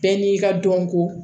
Bɛɛ n'i ka dɔnko